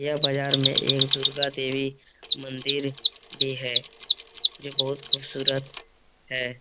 यह बाजार में एक दुर्गा देवी मंदिर भी है जो बहुत खूबसूरत है ।